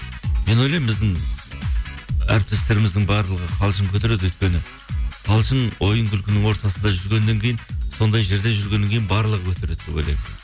мен ойлаймын біздің әртістеріміздің барлығы қалжың көтереді өйткені қалжың ойын күлкінің ортасында жүргеннен кейін сондай жерде жүргеннен кейін барлығы көтереді деп ойлаймын